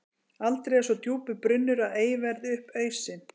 Aldrei er svo djúpur brunnur að ei verði upp ausinn.